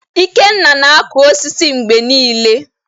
Ikenna na-akụ osisi mgbe niile